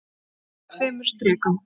Augun urðu að tveimur strikum.